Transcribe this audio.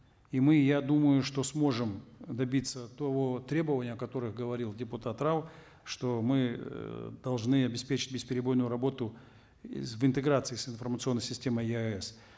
и мы я думаю что сможем добиться того требования о которых говорил депутат рау что мы эээ должны обеспечить бесперебойную работу в интеграции с информационной системой еаэс